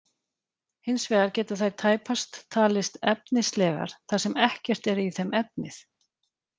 Hins vegar geta þær tæpast talist efnislegar þar sem ekkert er í þeim efnið.